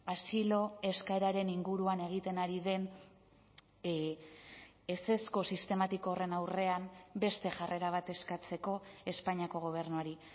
asilo eskaeraren inguruan egiten ari den ezezko sistematiko horren aurrean beste jarrera bat eskatzeko espainiako gobernuari